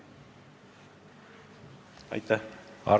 Arto Aas.